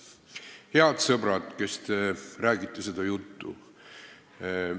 Head sõbrad, kes te räägite seda juttu!